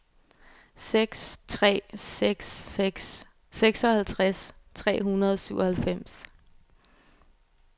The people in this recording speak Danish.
seks tre seks seks seksoghalvtreds tre hundrede og syvoghalvfems